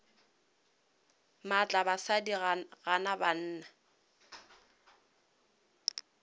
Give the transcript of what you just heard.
maatla basadi ba gana banna